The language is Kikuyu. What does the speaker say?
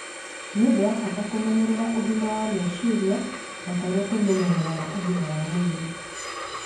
Nĩ ũndũ wa bata kũmenyerera ũgima wa meciria o ta ũrĩa tũmenyereraga ũgima wa mwĩri.